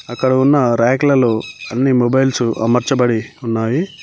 అక్కడ ఉన్న రేకులలో అన్ని మొబైల్స్ మార్చబడి ఉన్నాయి.